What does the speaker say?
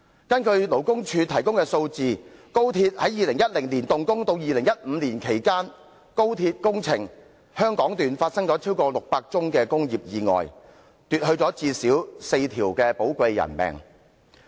根據勞工處提供的數字，自2010年動工至2015年期間，高鐵工程香港段發生了超過600宗工業意外，奪去最少4條寶貴生命。